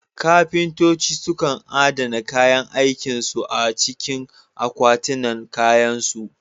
Kafintoci sukan adana kayan aikin su a cikin akwatinan kayansu.